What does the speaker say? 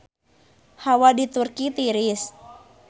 Hawa di Turki tiris